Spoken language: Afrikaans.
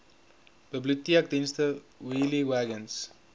biblioteekdienste wheelie wagons